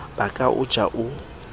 ba ka o ja o